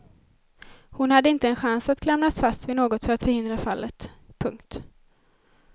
Hon hade inte en chans att klamras fast vid något för att förhindra fallet. punkt